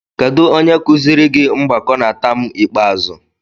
Kedu onye kụziiri gị mgbakọ na taam ikpeazụ?